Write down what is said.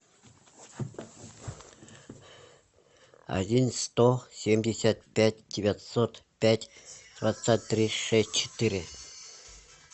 один сто семьдесят пять девятьсот пять двадцать три шесть четыре